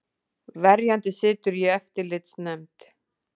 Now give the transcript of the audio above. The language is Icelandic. Verjandi situr í eftirlitsnefnd